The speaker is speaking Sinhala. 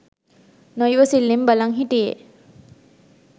නොයිවසිල්ලෙන් බලන් හිටියේ